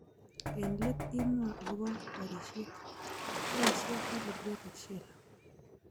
Eng let imwa akobo borishet ,boisie calibrated sheller